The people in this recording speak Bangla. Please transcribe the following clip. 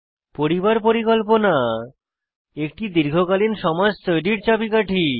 পরিবার পরিকল্পনা একটি দীর্ঘকালীন সমাজ তৈরীর চাবিকাঠি